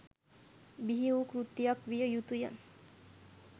බිහි වූ කෘතියක් විය යුතු ය.